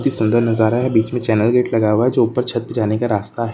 इत्ती सुन्दर नजारा है बीच में चैनल गेट लगा हुआ है जो ऊपर छत्त पे जाने का रास्ता है।